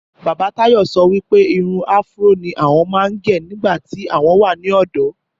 Bàbá Táyọ̀ sọ wí pé irun afro ni òun máa ń gẹ̀ nígbà tí òun wà ní ọ̀dọ́